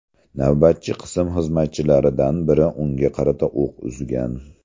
Navbatchi qism xizmatchilaridan biri unga qarata o‘q uzgan.